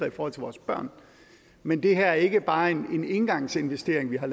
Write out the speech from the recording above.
i forhold til vores børn men det her er ikke bare en engangsinvestering vi har